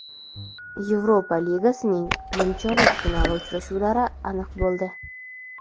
Yevropa ligasining nimchorak finali uchrashuvlari aniq bo‘ldi.